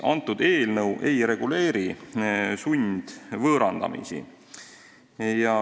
Eelnõu ei reguleeri sundvõõrandamist.